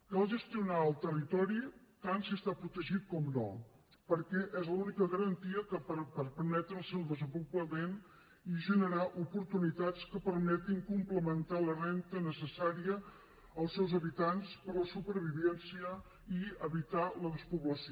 cal gestionar el territori tant si està protegit com no perquè és l’única garantia que pot permetre el seu desenvolupament i generar oportunitats que permetin complementar la renda necessària als seus habitants per a la supervivència i evitar la despoblació